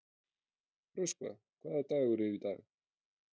Röskva, hvaða dagur er í dag?